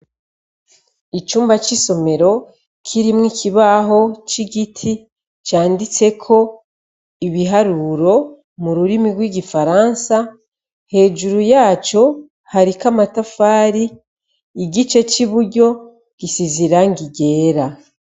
Icumba c'isomero kirimwo ikibaho c'igiti canditseko ibiharuro mu rurimi rw'igifaransa hejuru yaco hariko amatafari, igice c'iburyo gisize irangi ryera.